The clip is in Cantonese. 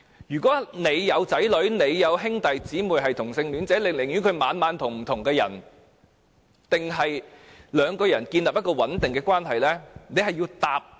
如果子女或兄弟姊妹是同性戀者，會寧願他每晚與不同的人一起，還是兩個人建立穩定的關係？